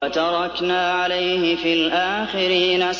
وَتَرَكْنَا عَلَيْهِ فِي الْآخِرِينَ